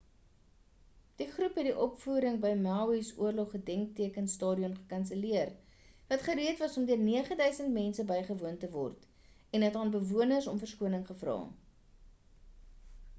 die groep het die opvoering by maui's oorlog gedenkteken stadion gekanselleer wat gereed was om deur 9,000 mense bygewoon te word en het aan bewonderaars om verskoning gevra